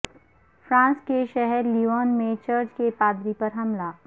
France کے شہر Lyon میں چرچ کے پادری پر حملہ